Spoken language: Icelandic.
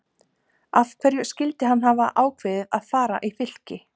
Af hverju skyldi hann hafa ákveðið að fara í Fylki?